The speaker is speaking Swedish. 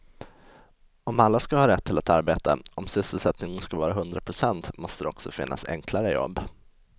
Om alla ska ha rätt till ett arbete, om sysselsättningen ska vara hundra procent måste det också finnas enklare jobb.